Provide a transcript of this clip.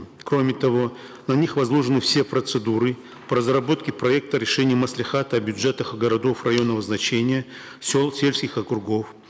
кроме того на них возложены все процедуры по разработке проекта решения маслихата о бюджетах городов районного значения сел сельских округов